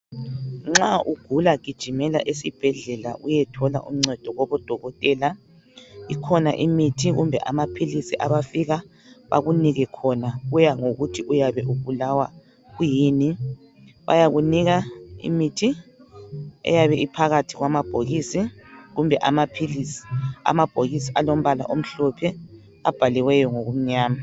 Nxa ugula gijimela esibhedlela uyethola uncedo kubo dokotela, ikhona imithi kumbe amaphilisi abafika bakunike khona kuyanga ngokuthi yabe ubulawa kwiyini. Bayakunika imithi eyabe iphakathi kwamabhokisi kumbe amaphilisi, amabhokisi alombala omhlophe abhaliwe ngoku mnyama.